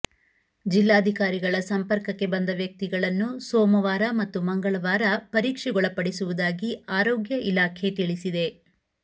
ಜಿಲ್ಲಾಧಿಕಾರಿಗಳ ಸಂಪರ್ಕಕ್ಕೆ ಬಂದ ವ್ಯಕ್ತಿಗಳನ್ನು ಸೋಮವಾರ ಮತ್ತು ಮಂಗಳವಾರ ಪರೀಕ್ಷೆಗೊಳಪಡಿಸುವುದಾಗಿ ಆರೋಗ್ಯ ಇಲಾಖೆ ತಿಳಿಸಿದೆ